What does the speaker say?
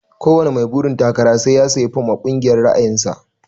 Ko wani mai burin takara sai ya siya fom a kungiyar ra'ayin sa.